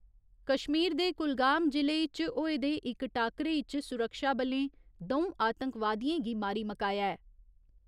कश्मीर दे कुलगाम जि'ले इच होए दे इक टाक्करे इच सुरक्षाबलें दौ आतंकवादियें गी मारी मकाया ऐ।